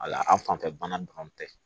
Wala an fanfɛ bana dɔrɔn tɛ